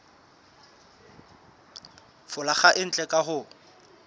folaga e ntle ka ho